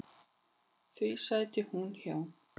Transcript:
Því sæti hún hjá.